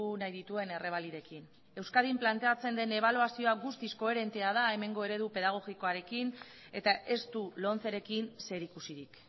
nahi dituen errebalidekin euskadin planteatzen den ebaluazioa guztiz koherentea da hemengo eredu pedagogikoarekin eta ez du lomcerekin zerikusirik